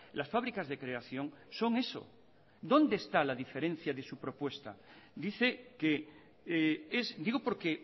las fábricas de creación son eso dónde está la diferencia de su propuesta dice que es digo porque